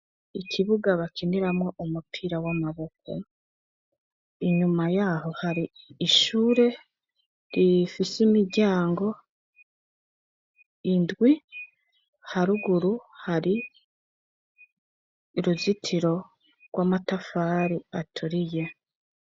Ikibuga bakiniramwo umupira w'amaboko. Inyuma yaho hari ishure rifise imiryango indwi; haruguru hari uruzitiro rw'amatafari aturiye.